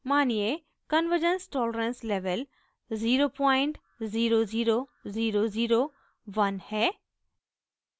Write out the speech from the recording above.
मानिये convergence tolerance level 000001 है